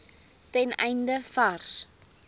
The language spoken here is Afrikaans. ten einde vars